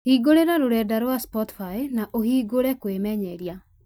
hingũra rũrenda rwa spotify na ũhingũre kwĩmenyeria